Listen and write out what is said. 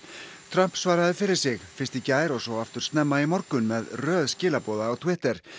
Trump svaraði fyrir sig fyrst í gær og svo aftur snemma í morgun með röð skilaboða á Twitter